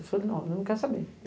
Eu falei, não, ele não quer saber.